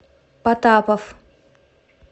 потапов